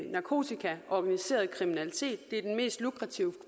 narkotika organiseret kriminalitet det er den mest lukrative